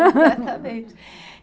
Exatamente.